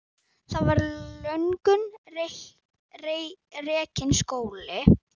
Þar var löngum rekinn skóli.